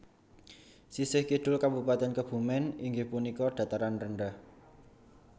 Sisih kidul Kabupatèn Kebumen iinggih punika dataran rendah